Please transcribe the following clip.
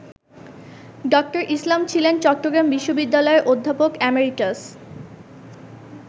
ড: ইসলাম ছিলেন চট্টগ্রাম বিশ্ববিদ্যালয়ের অধ্যাপক এমেরিটাস।